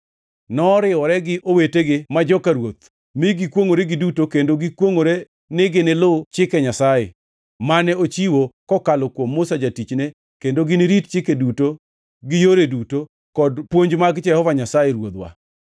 noriwore gi owetegi ma joka ruoth mi gikwongʼore giduto kendo negikwongʼore ni ginilu Chike Nyasaye, mane ochiwo kokalo kuom Musa jatichne kendo ginirit chike duto gi yore duto kod puonj mag Jehova Nyasaye Ruodhwa.